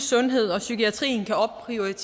så